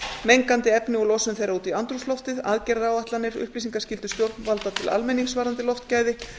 mengandi efni og losun þeirra út í andrúmsloftið aðgerðaáætlanir upplýsingaskyldu stjórnvalda til almenningi varðandi loftgæði